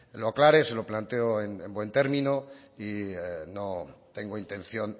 lo aclare se lo planteo en buen término y no tengo intención